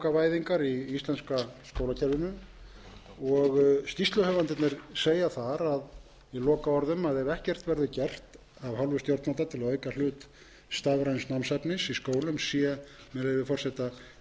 e bókavæðingar í íslenska skólakerfinu skýrsluhöfundarnir segja þar í lokaorðum að ef ekkert verði gert af hálfu stjórnvalda til að auka hlut stafræns námsefnis í skólum sé með leyfi forseta ljóst að